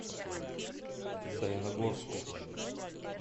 саяногорску